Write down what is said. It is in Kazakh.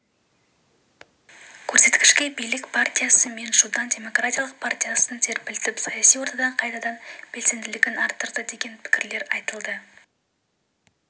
көрсеткішке билік партиясы минчжудан демократиялық партиясын серпілтіп саяси ортада қайтадан белсенділігін арттырды деген пікірлер айтылды